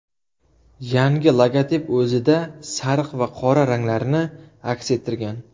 Yangi logotip o‘zida sariq va qora ranglarni aks ettirgan.